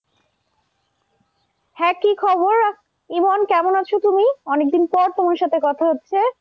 হ্যাঁ কি খবর, ইমন কেমন আছো তুমি? অনেকদিন পর তোমার সাথে কথা হচ্ছে।